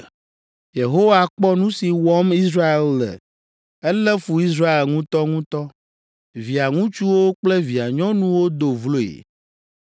Yehowa kpɔ nu si wɔm Israel le; elé fu Israel ŋutɔŋutɔ. Via ŋutsuwo kple via nyɔnuwo do vloe.